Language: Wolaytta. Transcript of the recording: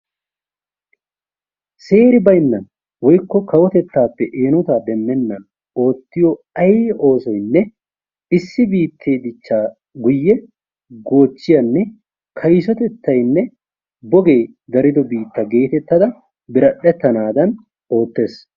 Seeri baynnan woykko kawotettaappe eenotaa demmennan oottiyo ay oosoynne issi biittee dichchaa guyye goochchiyanne kaysotettaynne bogee darido biitta geetettada biradhdhettanaadan oottees.